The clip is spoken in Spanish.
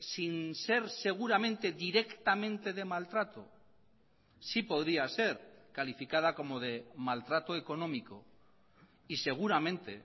sin ser seguramente directamente de maltrato sí podría ser calificada como de maltrato económico y seguramente